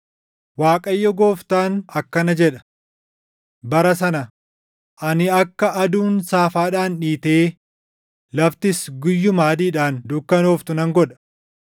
Waaqayyo Gooftaan akkana jedha; “Bara sana, “Ani akka aduun saafaadhaan dhiitee laftis guyyuma adiidhaan dukkanooftu nan godha.